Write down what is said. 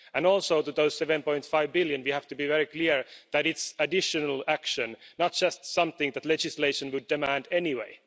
Also, on those EUR 7.5 billion we have to be very clear that it is additional action, not just something that legislation would demand anyway.